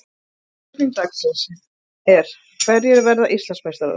Spurning dagsins er: Hverjir verða Íslandsmeistarar?